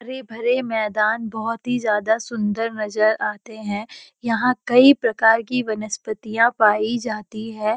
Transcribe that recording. हरे-भरे मैदान बहोत ही ज्‍यादा सुन्‍दर नजर आते हैं यहाँ कई प्रकार की वनस्पितियां पाई जाती हैं।